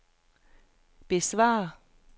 besvar